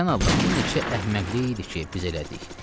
Sən Allah bu neçə əhməqlik idi ki, biz elədik.